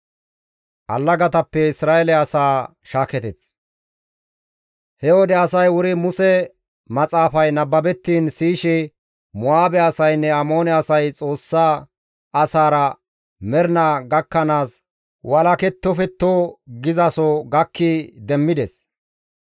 He wode asay wuri Muse maxaafay nababettiin siyishe, «Mo7aabe asaynne Amoone asay Xoossa asaara mernaa gakkanaas walakettofetto» gizaso gakki demmides.